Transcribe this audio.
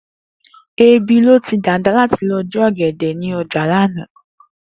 Ebi ló ti Dàda láti lo̩ jí ò̩gè̩dè̩ ní o̩jà lánàá